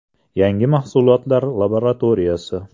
Yangi mahsulotlar laboratoriyasi.